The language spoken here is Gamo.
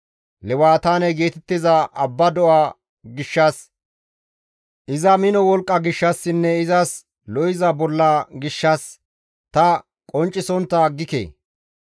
Lewataane geetettiza abba do7a gishshas, iza mino wolqqa gishshassinne izas lo7iza bolla gishshas, ta qonccisontta aggike.